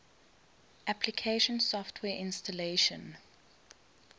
application software installation